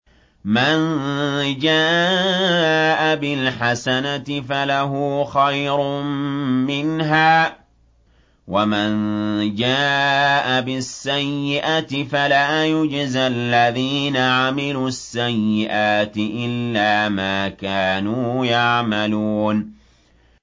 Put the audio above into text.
مَن جَاءَ بِالْحَسَنَةِ فَلَهُ خَيْرٌ مِّنْهَا ۖ وَمَن جَاءَ بِالسَّيِّئَةِ فَلَا يُجْزَى الَّذِينَ عَمِلُوا السَّيِّئَاتِ إِلَّا مَا كَانُوا يَعْمَلُونَ